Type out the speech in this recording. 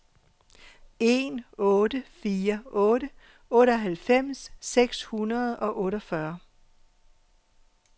en otte fire otte otteoghalvfems seks hundrede og otteogfyrre